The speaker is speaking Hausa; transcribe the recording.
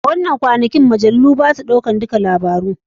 A wanan kwanakin majalu basa ɗaukan dukka labaru.